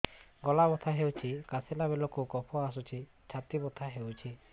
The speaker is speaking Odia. ଗଳା ବଥା ହେଊଛି କାଶିଲା ବେଳକୁ କଫ ଆସୁଛି ଛାତି ବଥା ହେଉଛି